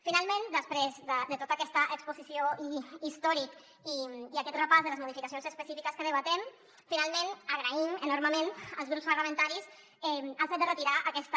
finalment després de tota aquesta exposició i històric i aquest repàs de les modificacions específiques que debatem agraïm enormement als grups parlamentaris el fet de retirar aquesta esmena